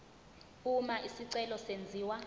uma isicelo senziwa